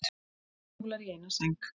Skólar í eina sæng